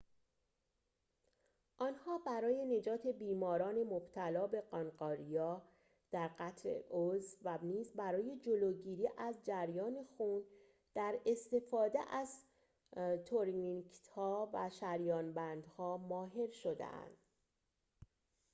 آنها برای نجات بیماران مبتلا به قانقاریا در قطع عضو و نیز برای جلوگیری از جریان خون در استفاده از تورنیکت‌ها و شریان‌بندها ماهر شدند